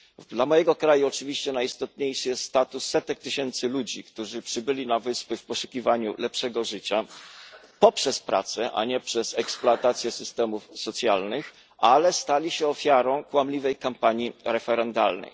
Dla mojego kraju oczywiście najistotniejszy jest status setek tysięcy ludzi, którzy przybyli na Wyspy w poszukiwaniu lepszego życia poprzez pracę, a nie przez eksploatację systemów socjalnych, ale stali się ofiarą kłamliwej kampanii referendalnej.